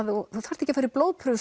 þú þarft ekki að fara í blóðprufu